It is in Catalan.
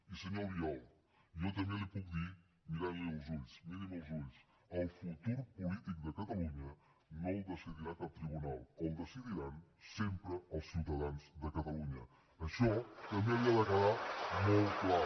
i senyor albiol jo també li ho puc dir mirant li als ulls miri’m als ulls el futur polític de catalunya no el decidirà cap tribunal el decidiran sempre els ciutadans de catalunya això també li ha de quedar molt clar